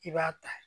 I b'a ta